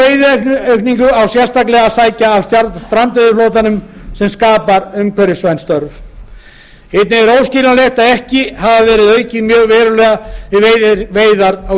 bolfiskstegundum þá veiðiaukningu á að sækja með strandveiðiflotanum sem skapar umhverfisvæn störf einnig er óskiljanlegt að ekki skuli hafa verið aukið mjög verulega við veiðar á